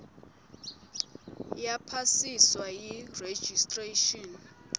yaphasiswa yi registration